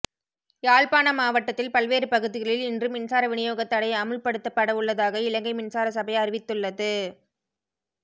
யாழ்ப்பாண மாவட்டத்தின் பல்வேறு பகுதிகளில் இன்று மின்சார விநியோகத் தடை அமுல்படுத்தப்படவுள்ளதாக இலங்கை மின்சார சபை அறிவித்துள்ளது